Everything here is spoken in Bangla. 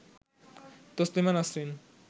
তছলিমা নাসরিন